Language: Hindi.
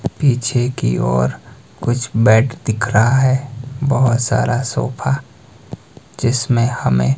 पीछे की ओर कुछ बैट दिख रहा है बहोत सारा सोफा जिसमें हमें--